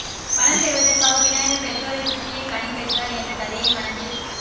பழம் பெறுவதற்காக விநாயகர் பெற்றோரைச் சுற்றியே கனி பெற்றார் என்ற கதையை மனதில்